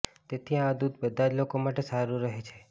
તેથી આ દુધ બધાં જ લોકો માટે સારૂ રહે છે